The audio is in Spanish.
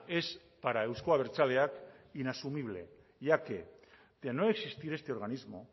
es para euzko abertzaleak inasumible ya que de no existir este organismo